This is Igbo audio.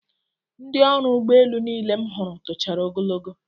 Ndị ọrụ ụgbọelu niile m hụrụla tochara ogologo